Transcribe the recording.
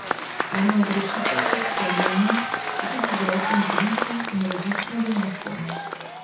Ena od rešitev, vsaj delna, so tudi zdravstveni turizem in različne donacije.